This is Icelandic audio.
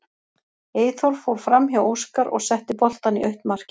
Eyþór fór framhjá Óskar og setti boltann í autt markið.